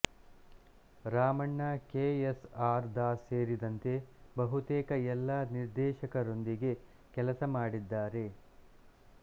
Ramanna K S R Das ಸೇರಿದಂತೆ ಬಹುತೇಕ ಎಲ್ಲ ನಿರ್ದೇಶಕರೊಂದಿಗೆ ಕೆಲಸ ಮಾಡಿದ್ದಾರೆ